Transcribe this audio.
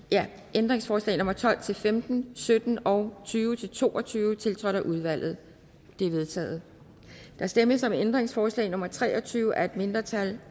ændringsforslag nummer tolv til femten sytten og tyve til to og tyve tiltrådt af udvalget de er vedtaget der stemmes om ændringsforslag nummer tre og tyve af et mindretal